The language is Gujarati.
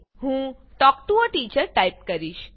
હું talk to a teacher type કરીશ